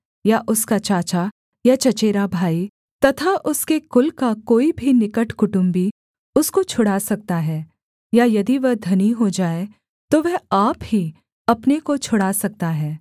या उसका चाचा या चचेरा भाई तथा उसके कुल का कोई भी निकट कुटुम्बी उसको छुड़ा सकता है या यदि वह धनी हो जाए तो वह आप ही अपने को छुड़ा सकता है